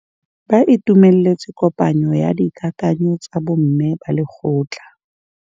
Ba itumeletse kôpanyo ya dikakanyô tsa bo mme ba lekgotla.